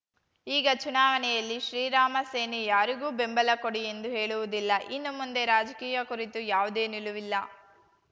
ಈಗ ಚುನಾವಣೆಯಲ್ಲಿ ಶ್ರೀರಾಮ ಸೇನೆ ಯಾರಿಗೂ ಬೆಂಬಲ ಕೊಡಿ ಎಂದು ಹೇಳುವುದಿಲ್ಲ ಇನ್ನು ಮುಂದೆ ರಾಜಕೀಯ ಕುರಿತು ಯಾವುದೇ ನಿಲುವಿಲ್ಲ